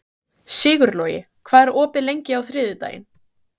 Sigurlogi, hvað er opið lengi á þriðjudaginn?